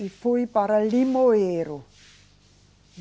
E fui para Limoeiro.